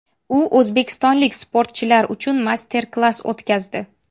U o‘zbekistonlik sportchilar uchun master-klass o‘tkazdi.